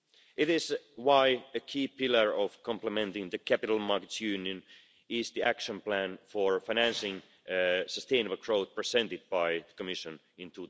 It is why a key pillar of complementing the capital markets union is the action plan for financing sustainable growth presented by the Commission in